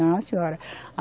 Não, senhora.